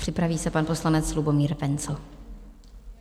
Připraví se pan poslanec Lubomír Wenzl.